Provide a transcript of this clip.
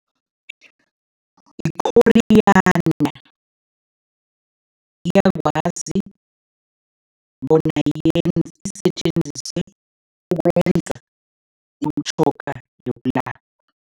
I-coriander, iyakwazi bona isetjenziswe ukwenza imitjhoga yokulapha.